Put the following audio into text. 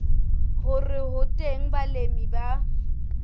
hore ho teng balemi ba